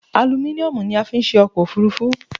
Alumíniomù ni a fi n se ọkọ̀ òfúrufú